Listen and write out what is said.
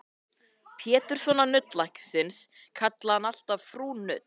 Péturssonar nuddlæknis kallaði hann alltaf Frú Nudd.